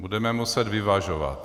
Budeme muset vyvažovat.